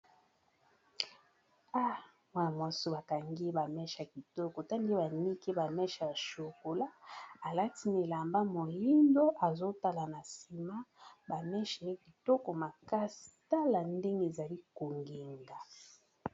Amwaa mwasu bakangi ba mesh ya kitoko ta nde bamiki ba meshe ya shokola alati milamba molindo, azotala na nsima bameshe ya kitoko makasi tala ndenge ezali kongenga.